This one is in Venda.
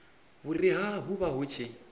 vhuriha hu vha hu tshi